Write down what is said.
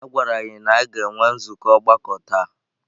A gwara anyị na a ga-enwe nzukọ ọgbakọ taa.